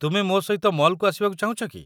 ତୁମେ ମୋ ସହିତ ମଲ୍‌କୁ ଆସିବାକୁ ଚାହୁଁଛ କି?